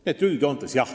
Nii et üldjoontes jah.